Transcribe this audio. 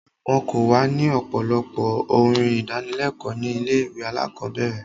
Wọ́n kọ wa ní ọ̀pọ̀lọpọ̀ orin ìdánilékòó ní ilé ìwé alákọ̀berẹ̀.